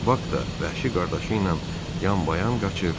Bak da vəhşi qardaşı ilə yan-bayan qaçır